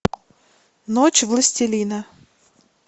ночь властелина